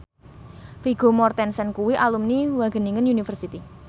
Vigo Mortensen kuwi alumni Wageningen University